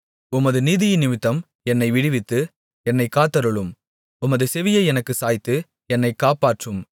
உமது நீதியினிமித்தம் என்னை விடுவித்து என்னைக் காத்தருளும் உமது செவியை எனக்குச் சாய்த்து என்னைக் காப்பாற்றும்